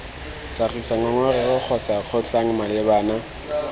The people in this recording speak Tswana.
tlhagisa ngongorego kgotsa kgotlhang malebana